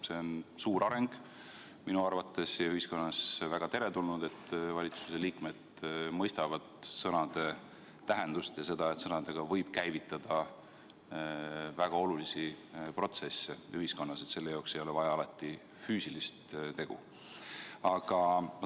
See on suur areng minu arvates ja ühiskonnas väga teretulnud, et valitsuse liikmed mõistavad sõnade tähtsust ning seda, et sõnadega võib käivitada väga olulisi protsesse ühiskonnas ja selleks ei ole vaja alati füüsilist tegu.